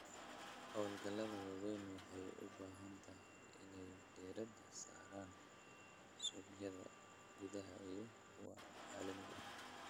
Hawlgallada waaweyn waxay u badan tahay inay diiradda saaraan suuqyada gudaha iyo kuwa caalamiga ah.